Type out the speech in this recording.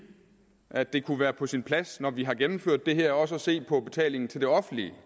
at det kunne være på sin plads når vi har gennemført det her også at se på betalingen til det offentlige